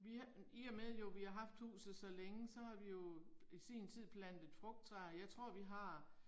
Vi i og med jo vi har haft huset så længe, så har vi jo i sin tid plantet frugttræer, jeg tror vi har